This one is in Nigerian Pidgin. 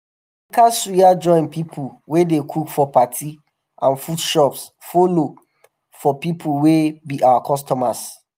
buka suya joint pipo wey dey cook for party and food shops follo for pipo wey be our customers.